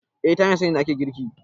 eh ta hanyar sanin inda ake girki